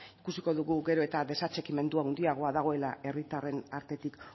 ikusiko dugu gero eta desatxikimendu handiagoa dagoela herritarren artetik